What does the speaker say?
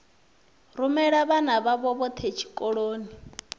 rumela vhana vhavho vhothe tshikoloni